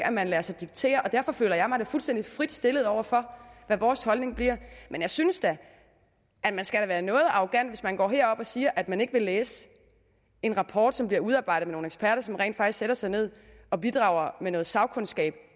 at man lader sig diktere og derfor føler jeg mig da fuldstændig frit stillet over for hvad vores holdning bliver men jeg synes da man skal være noget arrogant hvis man går herop og siger at man ikke vil læse en rapport som bliver udarbejdet af nogle eksperter som rent faktisk sætter sig ned og bidrager med noget sagkundskab